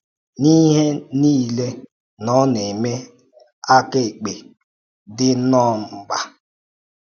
N’ihe a niile, na ọ na-eme aka ekpe dị nnọọ mkpa.